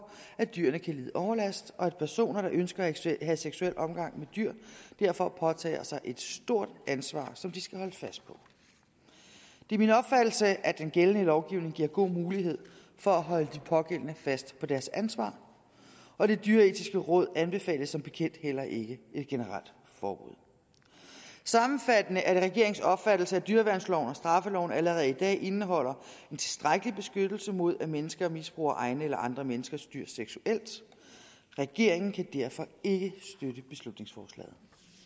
at dyrene kan lide overlast og at personer der ønsker at have seksuel omgang med dyr derfor påtager sig et stort ansvar som de skal holdes fast på det er min opfattelse at den gældende lovgivning giver god mulighed for at holde de pågældende fast på deres ansvar og det dyreetiske råd anbefaler som bekendt heller ikke et generelt forbud sammenfattende er det regeringens opfattelse at dyreværnsloven og straffeloven allerede i dag indeholder en tilstrækkelig beskyttelse mod at mennesker misbruger egne eller andre menneskers dyr seksuelt regeringen kan derfor ikke støtte beslutningsforslaget